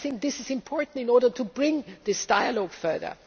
I think this is important in order to bring this dialogue further.